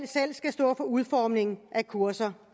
selv skal stå for udformningen af kurser